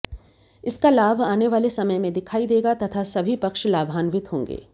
इसका लाभ आने वाले समय में दिखाई देगा तथा सभी पक्ष लाभान्वित होगें